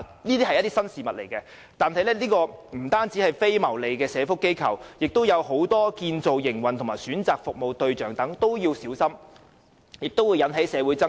由於這是新事物，所以不僅非牟利的社福機構，而且在建造營運及選擇服務對象方面都必須小心，以免引起社會爭論。